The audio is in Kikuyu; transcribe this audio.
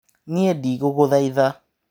Niĩ ndiguguthaitha.